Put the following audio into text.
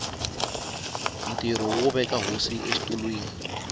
ntirho wo veka hosi exitulwini